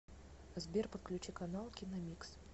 сбер подключи канал киномикс